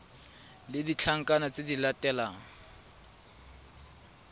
le ditlankana tse di latelang